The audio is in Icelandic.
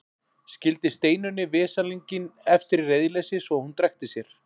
Skildi Steinunni veslinginn eftir í reiðileysi svo að hún drekkti sér.